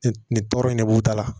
Nin tɔɔrɔ in ne b'u ta la